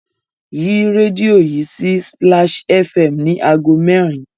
Yí rẹ́díò yìí sí Splash FM ní ago merin!